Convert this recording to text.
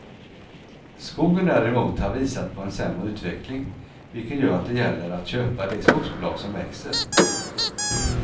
Skogen däremot har visat på en sämre utveckling vilket gör att det gäller att köpa de skogsbolag som växer.